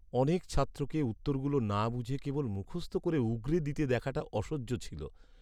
অনেক ছাত্রকে উত্তরগুলো না বুঝে কেবল মুখস্থ করে উগরে দিতে দেখাটা অসহ্য ছিল।